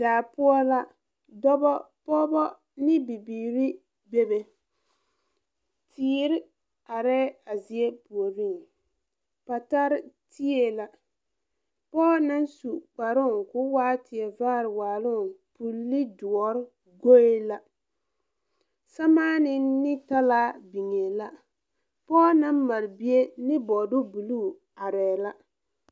Daa poɔ la dɔbɔ pɔɔbɔ ne bibiire bebe teere areɛɛ a zie puoriŋ patarre tee la pɔɔ naŋ su kparoo koo waa tie vaare waaloŋ pulle doɔre goee la sɛmaanee ne talaa biŋee la pɔɔ naŋ mare bie ne bɔɔdu bluu areɛɛ la.